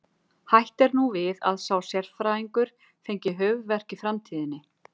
Hætt er nú við að sá sérfræðingur fengi höfuðverk í framtíðinni.